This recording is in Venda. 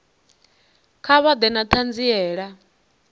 kha vha ḓe na ṱhanziela